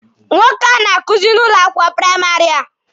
Nwoke a na-akuzi n'ụlọ akwụkwọ praịmarị a.